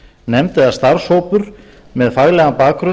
samráðsnefnd eða starfshópur með faglegan bakgrunn